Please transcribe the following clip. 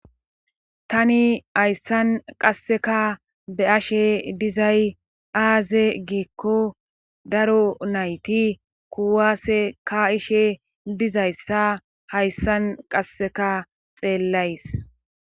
tani hayssan qasseka be ashe dizay aaze geekko daro nayti kuwaase ka ishe dizayssa hayssan qasseka xeellays